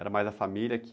Era mais a família que...